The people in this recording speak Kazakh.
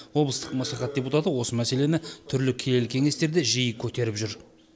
облыстық мәслихат депутаты осы мәселені түрлі келелі кеңесте жиі көтеріп жүр